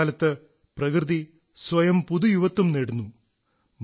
മഴക്കാലത്ത് പ്രകൃതി സ്വയം പുതുയുവത്വം നേടുന്നു